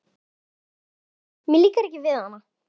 Mér líkar ekki við hana.